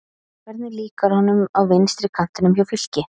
Hvernig líkar honum á vinstri kantinum hjá Fylki?